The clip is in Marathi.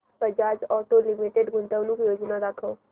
बजाज ऑटो लिमिटेड गुंतवणूक योजना दाखव